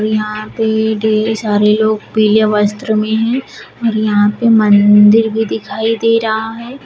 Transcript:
यहां पे ढेर सारे लोग पीले वस्त्र में हैं और यहां पे मंदिर भी दिखाई दे रहा है।